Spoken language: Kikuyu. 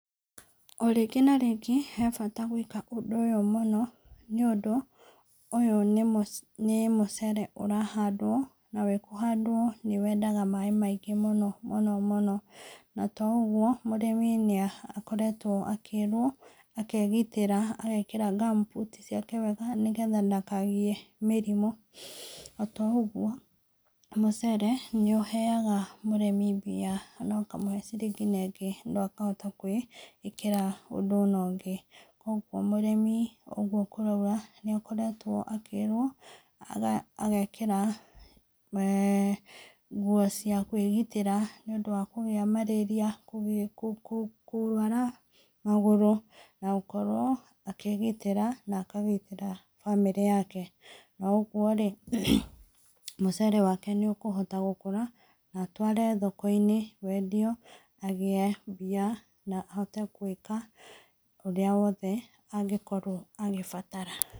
O rĩngĩ na rĩngĩ, he bata gwĩka ũndũ ũyũ mũno, nĩũndũ, ũyũ nĩ nĩ mũcere ũrahandwo, na wĩ kũhandwo nĩ wendaga maĩ maingĩ mũno mũno mũno, na to ũguo, mũrĩmi nĩakoretwo akĩrwo akegitĩra agekĩra gumboot ciake wega nĩgetha ndakagĩe mĩrimũ. Na to ũguo, mũcere nĩ ũheaga mũrĩmi mbia, ona ũkamũhe ciringi na ingĩ na akahota kwĩikĩra ũndũ na ũngĩ. Ũguo mũrĩmi o ũguo tũrauga, nĩakoretwo akĩrwo, aga agekĩra nguo cia kwĩgitĩra nĩũndũ wa kũgĩa marĩria, kũ kũ kũrwara magũrũ, na gũkorwo akĩgitĩra na akagitĩra bamĩrĩ yake, o ũguo rĩ, mũcere wake nĩũkũhota gũkũra, na atware thokoinĩ wendio, agĩe mbia na ahote gwĩka ũrĩa wothe angĩkorwo agĩbatara.